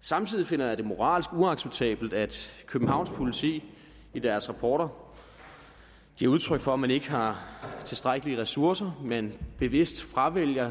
samtidig finder jeg det moralsk uacceptabelt at københavns politi i deres rapporter giver udtryk for at man ikke har tilstrækkelige ressourcer men bevidst fravælger